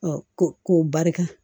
ko k'o barika